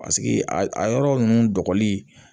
Paseke a a yɔrɔ ninnu